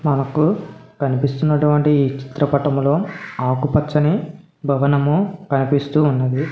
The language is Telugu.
మనకూ కనిపిస్తున్నటువంటి ఈ చిత్రపటంలో ఆకుపచ్చని భవనము కనిపిస్తూ ఉన్నది.